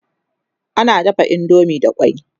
ana dafa indomie da kwai